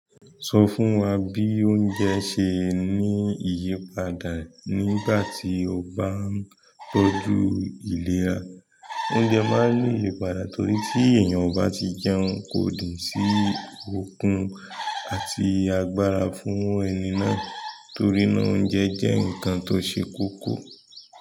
Sọ fún wa bí oúnjẹ ṣe ní ìyípadà nígbà tí ó bá ń tọ́jú ìlera. Oúnjẹ máa ń ni iyípadà torí tí ènìyàn o bá ti jẹun, kò nì sí okun àti agbára fún ẹni náà torí náà oúnjẹ jẹ́ nǹkan tó ṣe kókó.